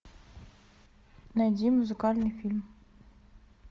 найди музыкальный фильм